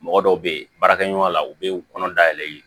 Mɔgɔ dɔw bɛ yen baarakɛ ɲɔgɔnya la u bɛ kɔnɔ dayɛlɛ